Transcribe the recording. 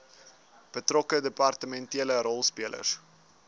betrokke departementele rolspelers